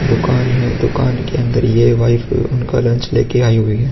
दुकान है। दुकान के अंदर ये वाईफ उनका लंच लेके आई हुई है।